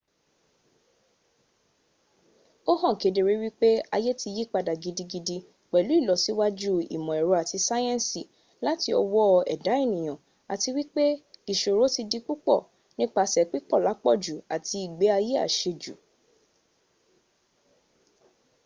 ó hàn kedere wípé ayé ti yípadà gidigidi pèlú ìlọsíwájú ìmọ̀-èrọ àti sáyẹ̀nsì láti ọwó ẹ̀dá ènìyàn àti wípé ìṣòro ti di púpọ̀ nípasè pípọ̀ làpọ̀jù àti ìgbé ayé àsẹjù